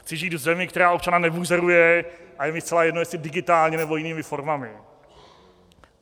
Chci žít v zemi, která občana nebuzeruje, a je mi zcela jedno, jestli digitálně, nebo jinými formami.